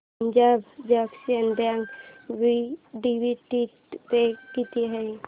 Punjab National Bank dividend pay किती आहे